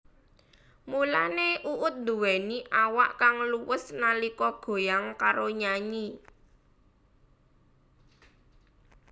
Mulane Uut nduwéni awak kang luwes nalika goyang karo nyanyi